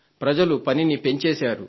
ప్రజలు పనిని పెంచేశారు